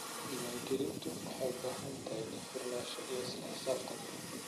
Diiwaangelintu waxay u baahan tahay daahfurnaan iyo isla xisaabtan.